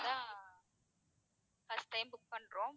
அதான் first time book பண்றோம்.